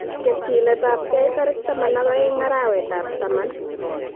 Ketyinetabgei tarik 12 arawetab taman